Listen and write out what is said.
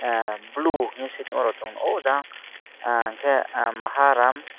ahh blue heni sui tong go aw jaag ahh ke ah Maha rum.